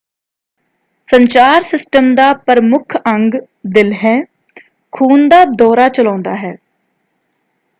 ਸੰਚਾਰ ਸਿਸਟਮ ਦਾ ਪ੍ਰਮੁੱਖ ਅੰਗ ਦਿਲ ਹੈ ਖੂਨ ਦਾ ਦੌਰਾ ਚਲਾਉਂਦਾ ਹੈ।